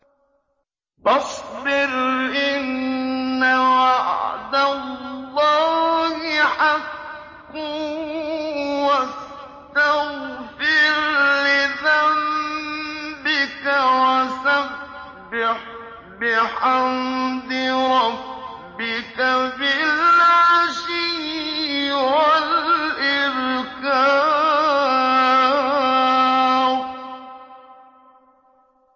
فَاصْبِرْ إِنَّ وَعْدَ اللَّهِ حَقٌّ وَاسْتَغْفِرْ لِذَنبِكَ وَسَبِّحْ بِحَمْدِ رَبِّكَ بِالْعَشِيِّ وَالْإِبْكَارِ